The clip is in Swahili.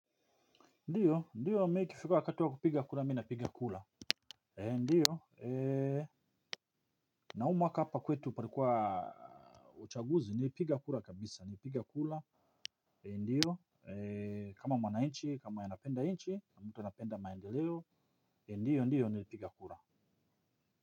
Ndiyo ndiyo mi ikifika wakati wa kupiga kura mi napiga kula ndiyo na huu mwaka hapa kwetu parikuwa uchaguzi nilipiga kura kabisa ni piga kula ndiyo kama mwanainchi kama yanapenda inchi kama mtu anapenda maendeleo ndiyo ndiyo nilipiga kura.